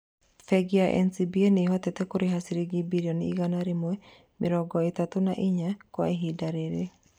Bengi ya NCBA nĩhotete kũrĩha ciringi birioni igana rĩa mĩrongo ĩtatũ na inya Kwa ihinda rĩrĩ